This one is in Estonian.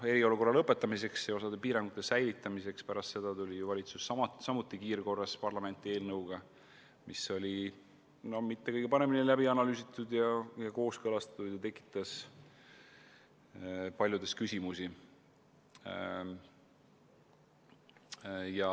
Eriolukorra lõpetamiseks ja osa piirangute säilitamiseks tuli ju valitsus samuti kiirkorras parlamenti eelnõuga, mis ei olnud just kõige paremini läbi analüüsitud ja kooskõlastatud ning tekitas paljudes küsimusi.